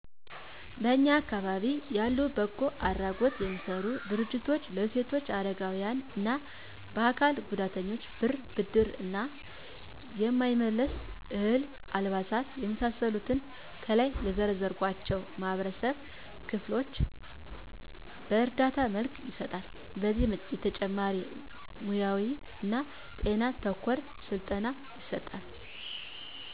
በእኛ አካባቢ ያሉ በጎ አድራጎት የሚሰሩ ድርጅቶች ለሴቶች ለአረጋዊያን እና ለአካል ጉዳተኞች ብር በብድር እና የማይመለስ፤ እህል፤ አልባሳት የመሳሰሉትን ከላይ ለዘረዘርኳቸው የማህበረሰብ ክፍሎች በእርዳታ መልክ ይሰጣሉ። ከዚህ በተጨማሪ ሙያውይ እና ጤና ተኮር ስልጠና ይሰጣሉ።